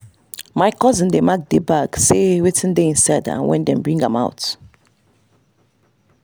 my cousin dey mark the bag say wetin dey inside and when dem bring am out.